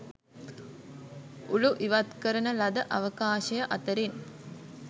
උළු ඉවත් කරන ලද අවකාශය අතරින්